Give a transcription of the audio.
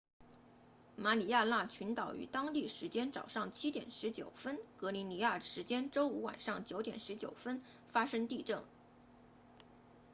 马里亚纳群岛于当地时间早上7点19分格林尼治时间周五晚上9点19分发生地震